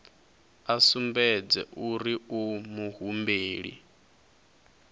a sumbedze uri u muhumbeli